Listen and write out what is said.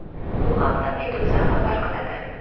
Bu haqda Meduza xabar qiladi .